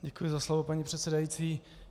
Děkuji za slovo, paní předsedající.